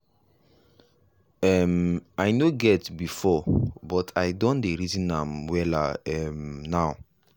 um i no get before buh i don dey reason am wella um now.